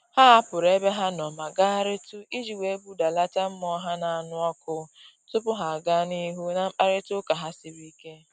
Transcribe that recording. Ha hapụrụ ebe ha nọ ma gagharịtụ iji wee budalata mmụọ ha na-anụ ọkụ tupu ha gaa n'ihu na mkparịta ụka ha siri ike